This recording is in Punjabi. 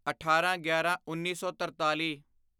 ਅਠਾਰਾਂਗਿਆਰਾਂਉੱਨੀ ਸੌ ਤਰਤਾਲੀ